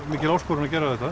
mikil áskorun að gera þetta